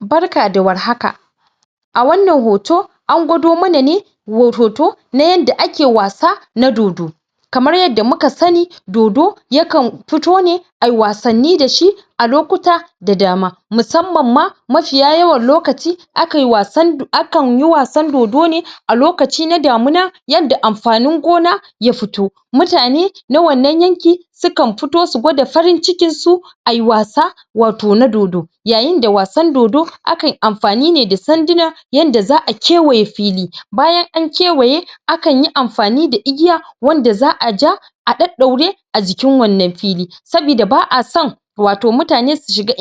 Barka da warhaka, A wannan hoto an gwado mana ne wato hoto na yanda ake wasa na dodo, kamar yadda muka sani dodo ya kan fito ne ayi wasanni dashi a lokuta da dama, musamman ma mafiya yawan lokaci akan yi wasan dodo ne a lokaci na damina yanda amfanin gona ya fito, ya fito mutane na wannan yanki su kan fito su gwada farin cikinsu ayi wasa wato na dodo. Yayin da wasan dodo, akan amfani ne da sanduna yanda za'a kewaye fili, bayan an kewaye akan yi amfani da igiya wanda za'a ja a daddaure a jikin wannan fili, saboda ba'a son